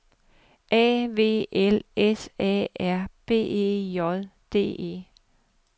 A V L S A R B E J D E